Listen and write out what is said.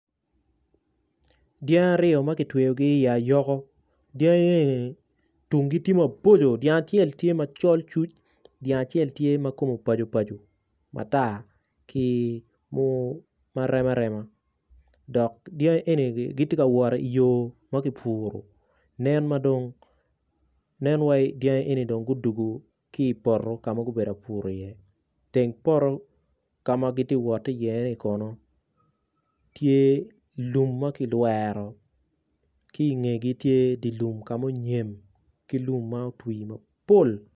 Dyangi aryo ma ki tweyogi iayoko dyangi eni tungi tye ma boco dyangi acel tye macol cuc dyangi acel tye mu bajo bajo matar ki ku ma rema rema Dok dyangi eni gitye ka wot I yo ma ki puru nen madong nen wai dyangi eni dong gudwogo ki poto ka gubedo ka pur iye teng poto ka gitye ka wot ki iye-ni Kono tye lum ma kilwero ki ingegi tye lum ka munyem ki lum ma otu mapol